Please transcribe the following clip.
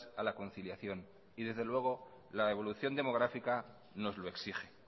a la conciliación y desde luego la evolución demográfica nos lo exige